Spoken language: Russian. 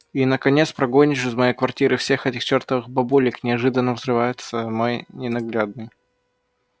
и наконец прогонишь из моей квартиры всех этих чёртовых бабулек неожиданно взрывается мой ненаглядный